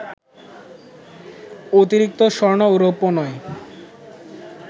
অতিরিক্ত স্বর্ণ ও রৌপ্য নয়